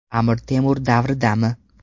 Amir Temur davridami?